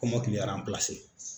Kɔmɔkili